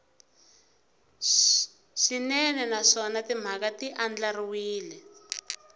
swinene naswona timhaka ti andlariwile